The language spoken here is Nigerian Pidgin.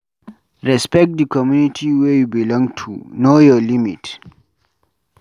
Respect di community wey you belong to, know your limit